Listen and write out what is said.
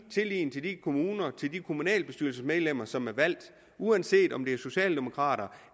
tillid til de kommuner til de kommunalbestyrelsesmedlemmer som er valgt uanset om det er socialdemokrater